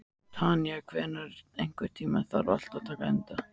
Tanya, einhvern tímann þarf allt að taka enda.